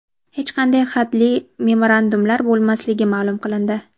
hech qanday hadli memorandumlar bo‘lmasligi ma’lum qilindi.